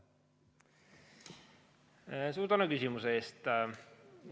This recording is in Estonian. Suur tänu küsimuse eest!